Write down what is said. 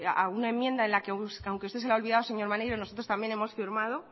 a una enmienda en la que a usted se le ha olvidado señor maneiro nosotros también hemos firmado